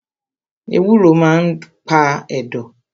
Ewúro maa n pa ẹ̀dọ̀